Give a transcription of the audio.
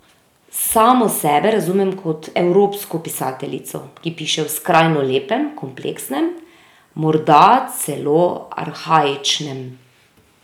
Samo sebe razumem kot evropsko pisateljico, ki piše v skrajno lepem, kompleksnem, morda celo arhaičnem jeziku.